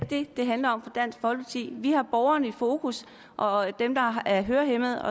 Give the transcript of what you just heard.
det det handler om for dansk folkeparti vi har borgerne i fokus og dem der er hørehæmmede